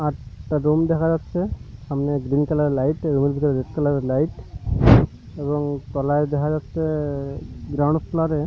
আর একটা রুম দেখা যাচ্ছে সামনে গ্রীন কালার -এর লাইট এর ভিতরে রেড কালার -এর লাইট এবং তলায় দেখা যাচ্ছে ব্রাউন কালার -এর--